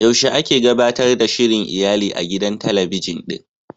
Yaushe ake gabatar da shirin iyali a gidan talabijin ɗin?